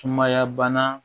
Sumaya bana